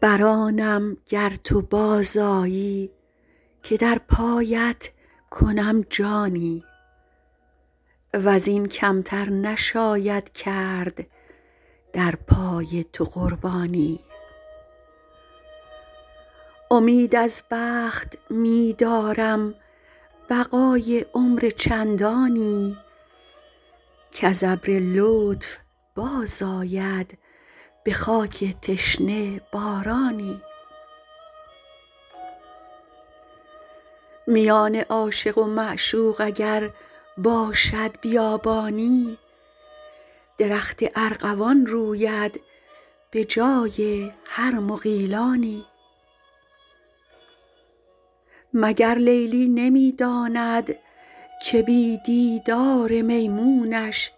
بر آنم گر تو باز آیی که در پایت کنم جانی و زین کم تر نشاید کرد در پای تو قربانی امید از بخت می دارم بقای عمر چندانی کز ابر لطف باز آید به خاک تشنه بارانی میان عاشق و معشوق اگر باشد بیابانی درخت ارغوان روید به جای هر مغیلانی مگر لیلی نمی داند که بی دیدار میمونش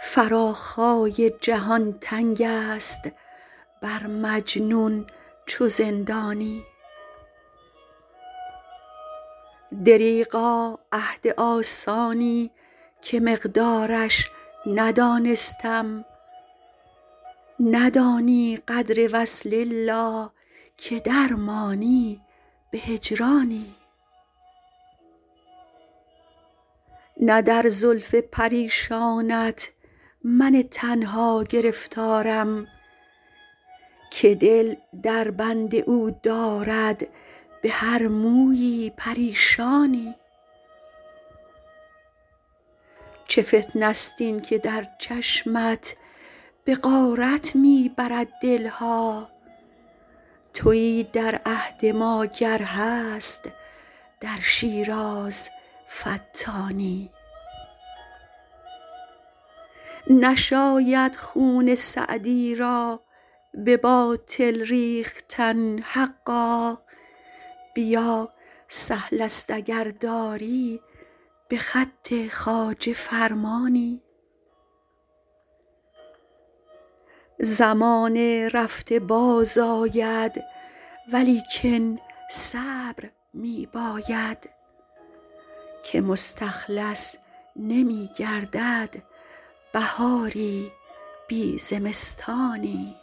فراخای جهان تنگ است بر مجنون چو زندانی دریغا عهد آسانی که مقدارش ندانستم ندانی قدر وصل الا که در مانی به هجرانی نه در زلف پریشانت من تنها گرفتارم که دل در بند او دارد به هر مویی پریشانی چه فتنه ست این که در چشمت به غارت می برد دل ها تویی در عهد ما گر هست در شیراز فتانی نشاید خون سعدی را به باطل ریختن حقا بیا سهل است اگر داری به خط خواجه فرمانی زمان رفته باز آید ولیکن صبر می باید که مستخلص نمی گردد بهاری بی زمستانی